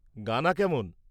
গানা কেমন?